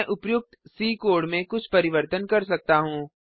मैं उपर्युक्त C code में कुछ परिवर्तन कर सकता हूँ